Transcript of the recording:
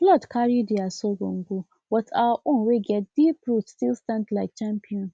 flood carry their sorghum go but our own wey get deep root still stand like champion